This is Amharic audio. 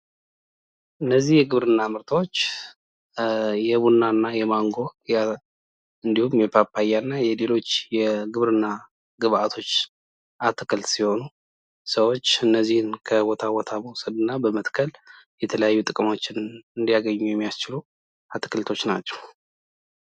እነዚህ የግብርና ምርቶች የቡና፣ የማንጎ፣ የፓፓያ እና የሌሎች የግብርና ግብአቶች አትክልት ሲሆኑ ሰዎች እነዚህን ከቦታ ቦታ በመውሰድ በመትከል የተለያዩ ጥቅሞችን እንዲያገኙ የሚያደርጉ አትክልቶች ናቸው።